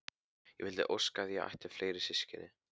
Ég vildi óska að ég ætti fleiri systkini.